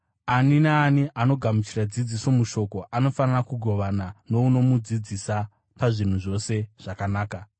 Ani naani anogamuchira dzidziso mushoko anofanira kugovana nounomudzidzisa pazvinhu zvose zvakanaka.